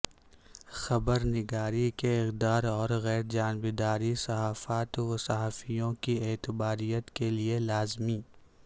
خبرنگاری کے اقداراورغیرجانبداری صحافت وصحافیوں کی اعتباریت کیلئے لازمی